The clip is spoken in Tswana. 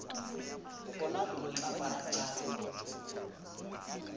bona lo tla bala jang